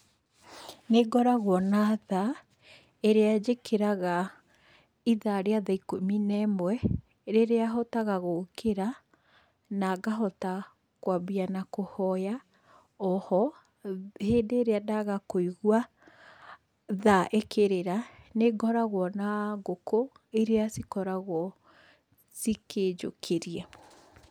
Nĩ ngoragwo na thaa, ĩrĩa njĩkĩraga itha rĩa tha ikũmi ne mwe, rĩrĩa hotaga gũkĩra, na ngahota kwambia na kũhoya. O ho, hĩndĩ ĩrĩa ndagakũigua tha ĩkĩrĩra, nĩ ngoragwo na ngũkũ iria cikoragwo cikĩnjũkĩria.